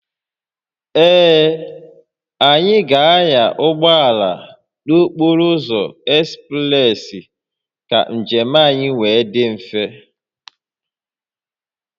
Ee, anyị ga-anya ụgbọ ala n'okporo ụzọ ekspreesị ka njem anyị wee dị mfe